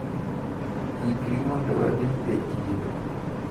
Ikri mondo wadhi e chiro.